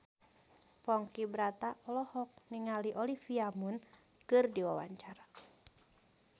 Ponky Brata olohok ningali Olivia Munn keur diwawancara